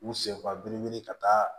U senfa belebele ka taa